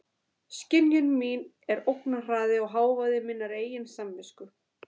Skynjun mín er ógnarhraði og hávaði minnar eigin samvisku.